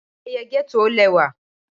Ayẹyẹ getto o lẹwà.